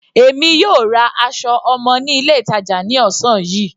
Èmi yóò ra aṣọ ọmọ ní ilé ìtàjà ní ọ̀sán yìí.